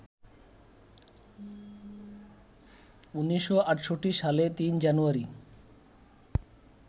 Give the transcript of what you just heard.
১৯৬৮ সালে ৩ জানুয়ারি